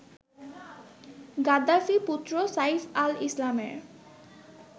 গাদ্দাফি-পুত্র Saif আল-ইসলামের